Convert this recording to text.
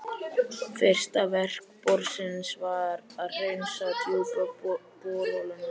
Fyrsta verk borsins var að hreinsa djúpu borholuna í